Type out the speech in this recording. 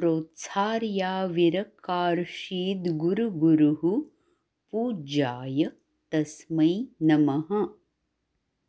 प्रोत्सार्याविरकार्षीद्गुरुगुरुः पूज्याय तस्मै नमः